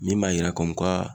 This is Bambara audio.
Min b'a yira